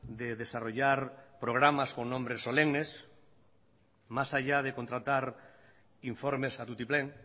de desarrollar programas con nombres solemnes más allá de contratar informes a tutiplén